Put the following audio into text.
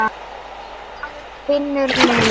Maður finnur leið.